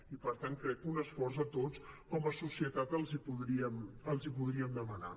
i per tant crec que un esforç a tots com a societat els hi podríem demanar